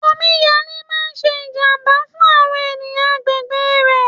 Omi yalé máa ń ṣe ìjàmbá fún àwọn ènìyàn agbègbè rẹ̀.